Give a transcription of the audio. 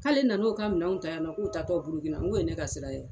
K'ale nan'o ka minɛnw ta yan nɔ k'o ta tɔ burukina n k'o ye ne ka sira ye a